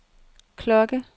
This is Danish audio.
klokke